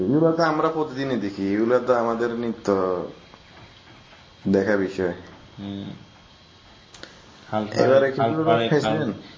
এইগুলা তো আমরা প্রতিদিন দেখি এইগুলা তো আমাদের নিত্য দেখার বিষয় হম